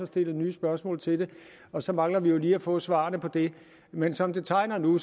stillet nye spørgsmål til det og så mangler vi jo lige at få svarene på dem men som det tegner nu